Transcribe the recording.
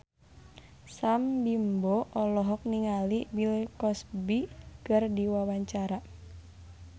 Sam Bimbo olohok ningali Bill Cosby keur diwawancara